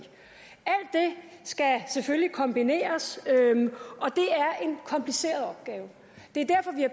skal selvfølgelig kombineres er en kompliceret opgave det